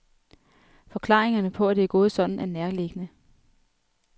Forklaringerne på, at det er gået sådan, er nærliggende.